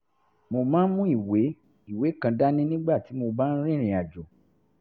mo máa ń mú ìwé ìwé kan dání nígbà tí mo bá ń rìnrìn àjò